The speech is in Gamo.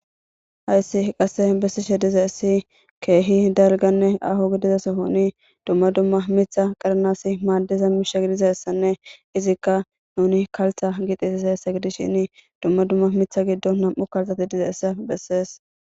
hayssi qasse bessishe dize essi keehi dalganne aho gidiza sohoni dumma dumma mitha qaranasi maaddeza misha gidizassanne izikka nuni kaltha gixisiseessa gidishin dumma dumma mitha giddo nam7u kalthati dizeessa bessees